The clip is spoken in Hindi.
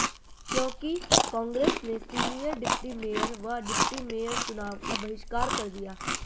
क्योंकि कांग्रेस ने सीनियर डिप्टी मेयर व डिप्टी मेयर चुनाव का बहिष्कार कर दिया